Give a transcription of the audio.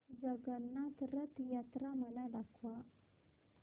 जगन्नाथ रथ यात्रा मला दाखवा